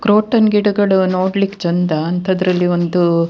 croton ಗಿಡಗಳು ನೋಡ್ಲಿಕ್ಕೆ ಚೆಂದ ಅಂತದ್ರಲ್ಲಿ ಒಂದು-